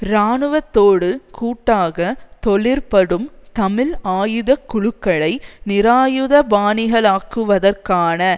இராணுவத்தோடு கூட்டாக தொழிற்படும் தமிழ் ஆயுத குழுக்களை நிராயுதபாணிகளாக்குவதற்கான